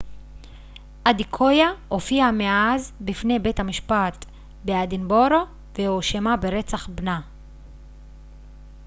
אדקויה הופיעה מאז בפני בית המשפט באדינבורו והואשמה ברצח בנה